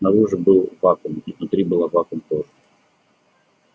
снаружи был вакуум и внутри была вакуум тоже